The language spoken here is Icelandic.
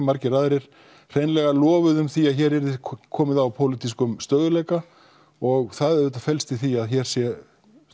margir aðrir lofuðu því að hér væri komið á pólitískum stöðugleika og það auðvitað felst í því að hér sé